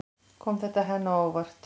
Kom þetta henni á óvart?